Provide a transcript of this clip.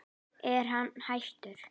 Er hann hættur?